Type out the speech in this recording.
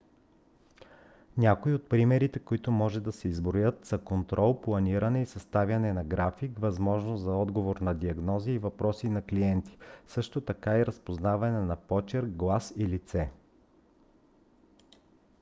някои от примерите които може да се изброят са контрол планиране и съставяне на график възможност за отговор на диагнози и въпроси на клиенти също така и разпознаване на почерк глас и лице